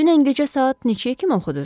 Dünən gecə saat neçəyə kimi oxuduz?